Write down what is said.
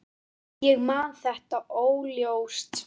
Ég man þetta óljóst.